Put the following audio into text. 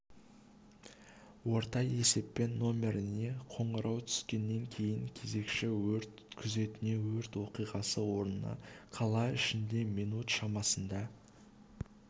орта есеппен нөміріне қоңырау түскеннен кейін кезекші өрт күзетіне өрт оқиғасы орнына қала ішінде минут шамасында